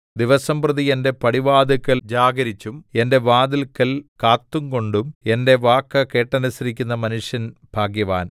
ദിവസംപ്രതി എന്റെ പടിവാതില്ക്കൽ ജാഗരിച്ചും എന്റെ വാതില്ക്കൽ കാത്തുകൊണ്ടും എന്റെ വാക്ക് കേട്ടനുസരിക്കുന്ന മനുഷ്യൻ ഭാഗ്യവാൻ